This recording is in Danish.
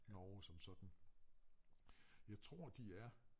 Norge som sådan. Jeg tror de er